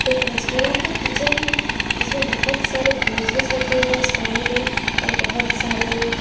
एक रेस्टोरेंट का किचन है जिसमें बहोत सारे ग्रोसरीज रखे हुए स्टैंड में और बहोत सारे--